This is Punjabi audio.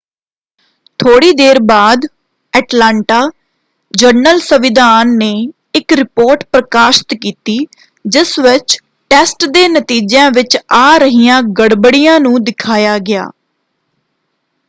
ਥੋੜ੍ਹੀ ਦੇਰ ਬਾਅਦ ਐਟਲਾਂਟਾ ਜਰਨਲ-ਸੰਵਿਧਾਨ ਨੇ ਇੱਕ ਰਿਪੋਰਟ ਪ੍ਰਕਾਸ਼ਤ ਕੀਤੀ ਜਿਸ ਵਿੱਚ ਟੈਸਟ ਦੇ ਨਤੀਜਿਆਂ ਵਿੱਚ ਆ ਰਹੀਆਂ ਗੜਬੜੀਆਂ ਨੂੰ ਦਿਖਾਇਆ ਗਿਆ।